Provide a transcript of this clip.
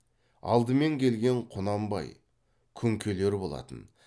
алдымен келген құнанбай күнкелер болатын